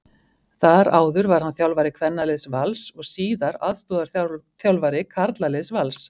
Þar áður var hann þjálfari kvennaliðs Vals og síðar aðstoðarþjálfari karlaliðs Vals.